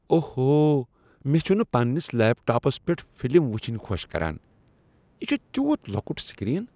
اوہو۔ مےٚ چھٗنہٕ پننس لیپ ٹاپس پیٹھ فلم وٗچھنہِ خوش كران ۔ یہ چھےٚ تیوت لۄکٹ سکرین۔